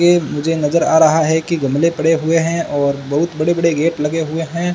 के मुझे नजर आ रहा है कि गमले पड़े हुए हैं और बहुत बड़े बड़े गेट लगे हुए हैं।